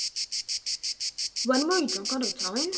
Þegar þú varst á fylliríi úti í bæ!